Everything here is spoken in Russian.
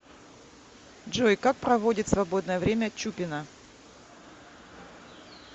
джой как проводит свободное время чупина